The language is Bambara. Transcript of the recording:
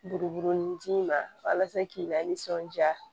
Buruburunin d'i ma walasa k'i lasɔnja